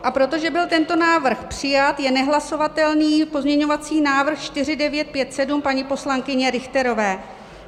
A protože byl tento návrh přijat, je nehlasovatelný pozměňovací návrh 4957 paní poslankyně Richterové.